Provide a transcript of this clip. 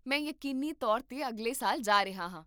ਮੈਂ ਯਕੀਨੀ ਤੌਰ 'ਤੇ ਅਗਲੇ ਸਾਲ ਜਾ ਰਿਹਾ ਹਾਂ